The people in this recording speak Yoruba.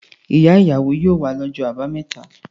Ìyá-ìyàwó yóò wá lọ́jọ́ àbámẹ́ta.